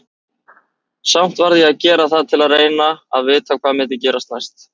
Samt varð ég að gera það til að reyna að vita hvað myndi gerast næst.